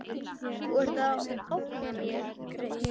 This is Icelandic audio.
Þú ert að ógna mér.